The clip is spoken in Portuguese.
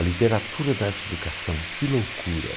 A literatura da arte-educação, que loucura!